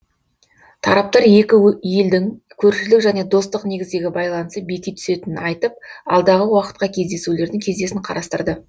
тараптар екі елдің көршілік және достық негіздегі байланысы беки түсетінін айтып алдағы уақытқа кездесулердің кестесін қарастырды